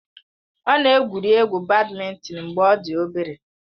Ọ na-egwuri egwu bádmintịn mgbe ọ dị obere.